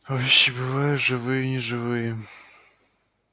вещи бываю живые и неживые